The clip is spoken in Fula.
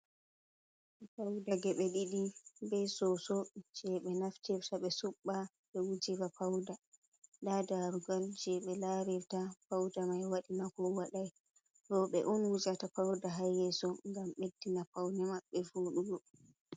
Pawda geɓe ɗiɗi, be soso je ɓe naftirta ɓe suɓɓa ɓe wujira pauda. Nda darugal je ɓe larirta pauda mai waɗi nako waɗai. Rewɓe on wujata pawda ha yeso ngam ɓeddina pawne maɓɓe foɗugo.